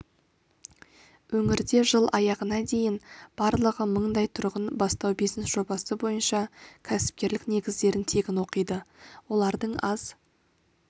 өңірде жыл аяғына дейін барлығы мыңдай тұрғын бастау-бизнес жобасы бойынша кәсіпкерлік негіздерін тегін оқиды олардың аз